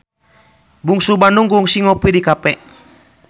Bungsu Bandung kungsi ngopi di cafe